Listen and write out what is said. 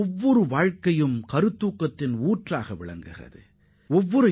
ஒவ்வொருவரின் வாழ்க்கையும் ஒவ்வொரு மனிதரும் ஊக்கத்தின் பிறப்பிடமாக திகழ்கின்றனர்